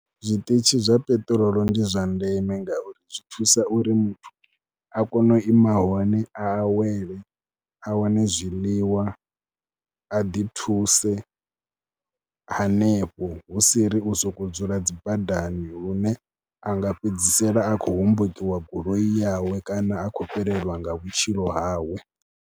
Zwiṱitshi zwa peṱirolo ndi zwa ndeme ngauri zwi thusa uri muthu a kone u ima hone a awele, a wane zwiḽiwa, a ḓithuse hanefho hu si ri u sokou dzula dzi badani lune a nga fhedzisela a khou hombokiwa goloi yawe kana a khou fhelelwa nga vhutshilo hawe.